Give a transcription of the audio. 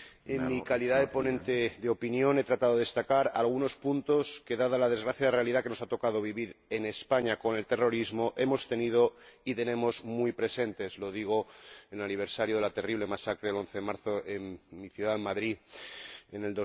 En mi calidad de ponente de opinión, he tratado de destacar algunos puntos que, dada la desgraciada realidad que nos ha tocado vivir en España con el terrorismo, hemos tenido y tenemos muy presentes —lo digo en el aniversario de la terrible masacre del 11 de marzo en mi ciudad, Madrid, en